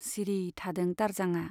सिरि थादों दारजांआ।